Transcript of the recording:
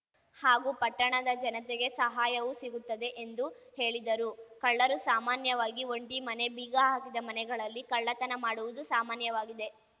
ಹಾಗೂ ಪಟ್ಟಣದ ಜನತೆಗೆ ಸಹಾಯವೂ ಸಿಗುತ್ತದೆ ಎಂದು ಹೇಳಿದರು ಕಳ್ಳರು ಸಾಮಾನ್ಯವಾಗಿ ಒಂಟಿ ಮನೆ ಬೀಗ ಹಾಕಿದ ಮನೆಗಳಲ್ಲಿ ಕಳ್ಳತನ ಮಾಡುವುದು ಸಾಮಾನ್ಯವಾಗಿದೆ